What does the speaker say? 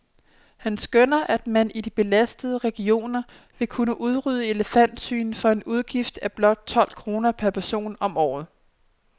Han skønner, at man i de belastede regioner vil kunne udrydde elefantsygen for en udgift af blot tolv kroner per person om året.